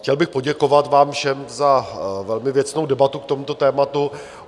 Chtěl bych poděkovat vám všem za velmi věcnou debatu k tomuto tématu.